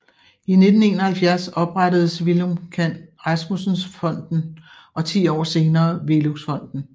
I 1971 oprettedes Villum Kann Rasmussen Fonden og ti år senere VELUX Fonden